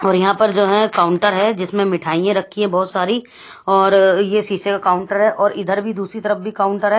और यहां पर जो हैं कॉन्टर है जिसमें मिठाईयें रखी है बहोत सारी और ये सीसे का काउंटर है और इधर भी दूसरी तरफ भी काउंटर है।